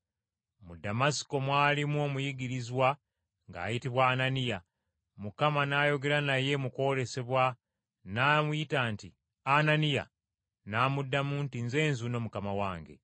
Mu Damasiko mwalimu omuyigirizwa ng’ayitibwa Ananiya. Mukama n’ayogera naye mu kwolesebwa n’amuyita nti, “Ananiya!” N’addamu nti, “Nze nzuuno, Mukama wange.”